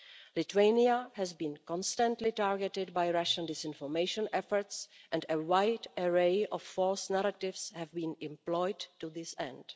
Lithuania has been constantly targeted by Russian disinformation efforts and a wide array of false narratives have been employed to this end.